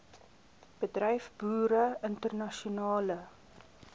bedryf boere internasionale